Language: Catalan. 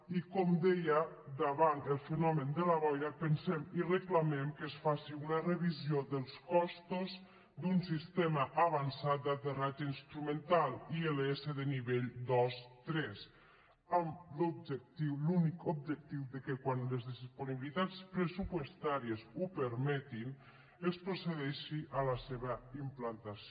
i com d eia davant el fenomen de la boira pensem i reclamem que es faci una revisió dels costos d’un sistema avan·çat d’aterratge instrumental ils de nivell dos·tres amb l’objectiu l’únic objectiu que quan les disponibilitats pressupostàries ho permetin es procedeixi a la seva implantació